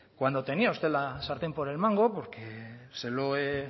cuando tenía usted la sartén por el mango porque se lo he